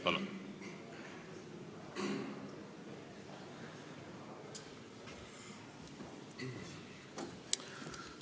Palun!